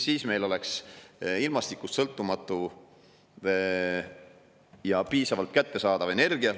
Siis meil oleks ilmastikust sõltumatu ja piisavalt kättesaadav energia.